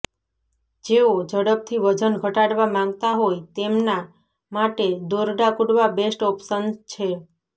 જેઓ ઝડપથી વજન ઘટાડવા માગતા હોય તેમના માટે દોરડા કૂદવા બેસ્ટ ઓપ્શન છે